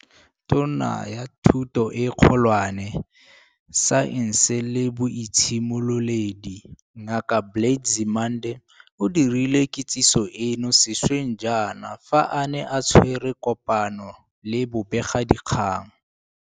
Tona ya Thuto e Kgolwane, Saense le Boitshimololedi, Ngaka Blade Nzimande, o dirile kitsiso eno sešweng jaana fa a ne a tshwere kopano le bobegakgang.